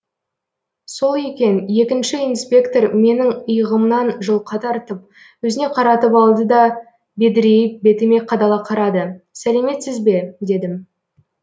сол екен екінші инспектор менің иығымнан жұлқа тартып өзіне қаратып алды да бедірейіп бетіме қадала қарады сәлеметсіз бе дедім